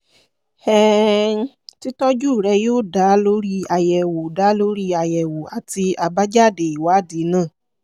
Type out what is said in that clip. um títọ́jú rẹ̀ yóò dá lórí àyẹ̀wò dá lórí àyẹ̀wò àti àbájáde ìwádìí náà